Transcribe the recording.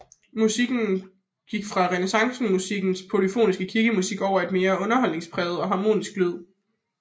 Musikken gik fra renæssancemusikkens polyfonske kirkemusik over i en mere underholdningspræget og harmonisk lyd